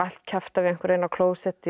kjafta við einhverja inni á klósetti